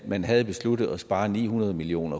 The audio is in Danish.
man havde besluttet at spare ni hundrede million